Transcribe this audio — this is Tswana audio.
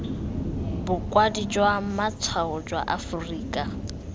bokwadi jwa matshwao jwa aforika